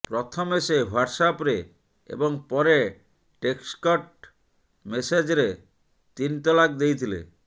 ପ୍ରଥମେ ସେ ହ୍ବାଟ୍ସ୍ଆପ୍ରେ ଏବଂ ପରେ ଟେକ୍ସଟ୍ ମେସେଜ୍ରେ ତିନ୍ ତଲାକ୍ ଦେଇଥିଲେ